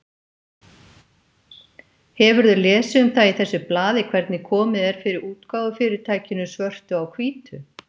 Hefurðu lesið um það í þessu blaði hvernig komið er fyrir útgáfufyrirtækinu Svörtu á hvítu?